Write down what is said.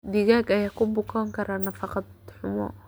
Digaag ayaa ku bukoon kara nafaqo xumo.